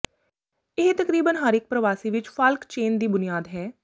ਇਹ ਤਕਰੀਬਨ ਹਰ ਇਕ ਪ੍ਰਵਾਸੀ ਵਿਚ ਫਾਲਕ ਚੇਨ ਦੀ ਬੁਨਿਆਦ ਹੈ